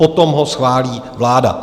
Potom ho schválí vláda.